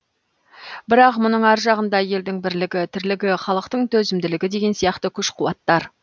бірақ мұның ар жағында елдің бірлігі тірлігі халықтың төзімділігі деген сияқты күш қуаттар